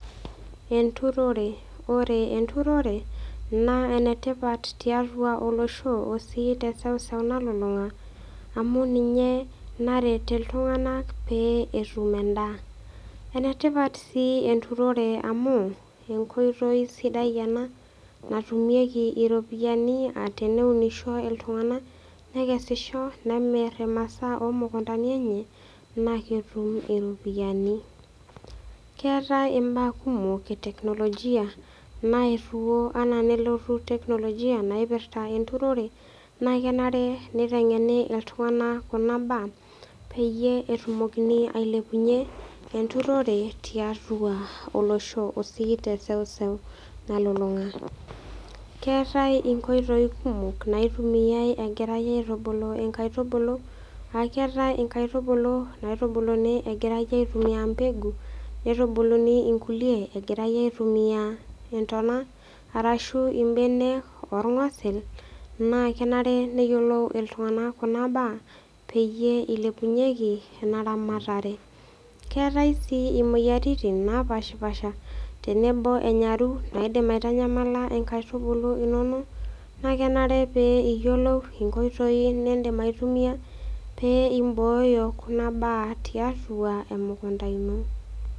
Eturore. Ore eturore naa, enetipat tiatua olosho o si te seuseu nalulunga amu ninye naret iltunganak pee etum endaa. Enetipat si eturore amu, enkoitoi sidai ena natumieki iropiyani ah teneunisho iltunganak nekesisho nemir imasaa oo mukutani enye naa ketum iropiyani. Keetae imbaa kumok eteknologia naaetuo enaa nelotu teknologia naipirta eturore naa kenare nitengeni iltunganak kuna mbaa peyie etumokini ailepunyie eturore tiatua olosho o sii te seuseu nalulunga. Keetae inkoitoi kumok naitumiae egirae aitubulu inkaitubulu, aaketae inkaitubulu naitubuluni egirae aitumia pegu, neitubuluni inkulie egirae aitumia itona arashu ibenek orgosil naa kenare neyiolou iltunganak kuna mbaa peyie ilepunyieki ena ramatare. Keetae si imoyiaritin napashipasha tenebo enyaru naidim aitanyamala inkaitubulu inonok na kenare pee iyiolou inkoitoi nidim aitumia pee ibooyo kuna baa tiatua emukunta ino .